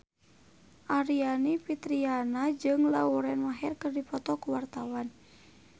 Aryani Fitriana jeung Lauren Maher keur dipoto ku wartawan